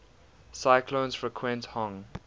cyclones frequent hong